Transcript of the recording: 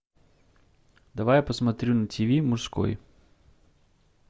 давай я посмотрю на тв мужской